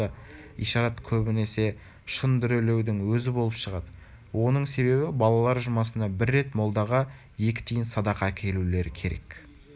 ишарат көбінесе шын дүрелеудің өзі болып шығады оның себебі балалар жұмасына бір рет молдаға екі тиын садақа әкелулері керек